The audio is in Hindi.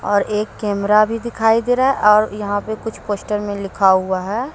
और एक कैमरा भी दिखाई दे रहा है और यहां पर कुछ पोस्टर में लिखा हुआ है।